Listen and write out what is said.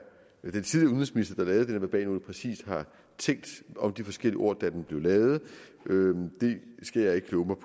verbalnote præcis har tænkt om de forskellige ord da den blev lavet det skal jeg ikke kloge